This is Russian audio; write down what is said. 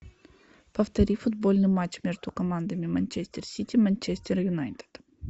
повтори футбольный матч между командами манчестер сити манчестер юнайтед